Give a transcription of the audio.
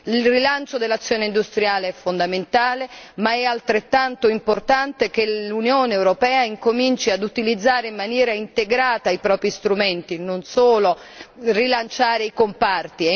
Il rilancio dell'azione industriale è fondamentale, ma è altrettanto importante che l'Unione europea incominci ad utilizzare in maniera integrata i propri strumenti, non solo rilanciare i comparti.